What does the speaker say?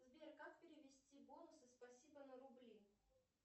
сбер как перевести бонусы спасибо на рубли